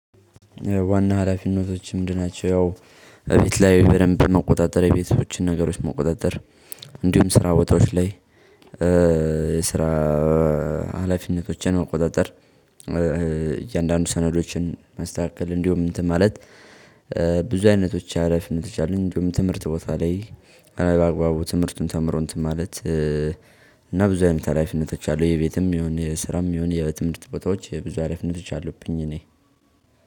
ዋና ሀላፊነቶች ምንድን ናቸው? ቤት ላይ በደንብ በመቆጣጠር የቤቶችን ነገሮች መቆጣጠር። እንዲሁም ስራ ቦታዎች ላይ የስራ ሀላፊነቶችን ቆጣጠር። እያንዳንዱ ሰነዶችን ማስተካከል እንዲሁም እንትን ማለት ብዙ አይነቶች ሀላፊነት አሉኝ። እንዲሁም ትምህርት ቦታ ላይ አረ በአግባቡ ትምህርቱን ተምሮ እንትን ማለት። እና ብዙ አይነት ሀላፊነቶች አሉ። የቤትም የሆነ የስራም የሆነ የትምህርት ቦታዎች ብዙ ሀላፊነቶች አሉብኝ። እኔ